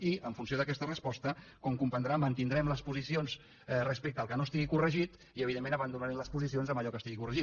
i en funció d’aquesta resposta com comprendrà mantindrem les posicions respecte al que no estigui corregit i evidentment abandonarem les posicions en allò que estigui corregit